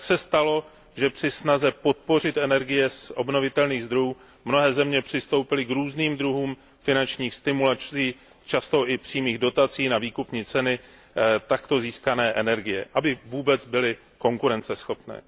Tak se stalo, že při snaze podpořit energie z obnovitelných zdrojů mnohé země přistoupily k různým druhům finančních stimulací, často i přímých dotací na výkupní ceny takto získané energie, aby vůbec byly konkurenceschopné.